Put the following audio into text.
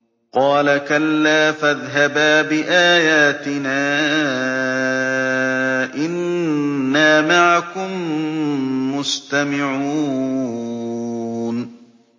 قَالَ كَلَّا ۖ فَاذْهَبَا بِآيَاتِنَا ۖ إِنَّا مَعَكُم مُّسْتَمِعُونَ